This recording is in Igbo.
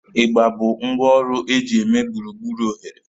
Igba bụ ngwá ọrụ eji eme gburugburu oghere